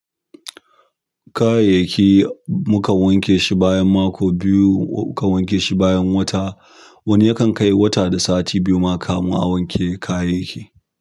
Kayayyaki mukan wanke shi bayan mako biyu, mukan wanke shi bayan wata. Wani yakan kai wata da sati biyu ma kamun a wanke kayayyaki.